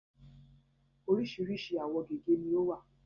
Oríṣìíríṣìí àwọ̀ gègé ni ó wà.